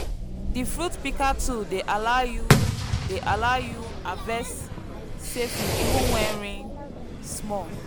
di fruit picker tool dey allow you dey allow you harvest safely even wen rain small